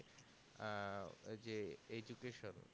আহ ওই যে education